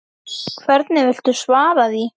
Hvernig viltu svara því?